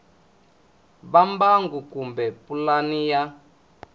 va mbangu kumbe pulani ya